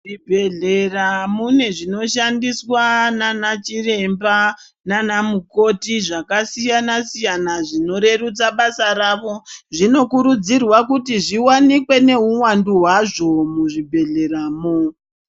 Zvibhedhlera mune zvinoshandiswa nana chiremba nana mukoti zvakasiyana siyana zvinorerutsa basa ravo zvinokurudzirwa kuti zviwanikwe neuwandu hwazvo muzvibhedhlera mwo.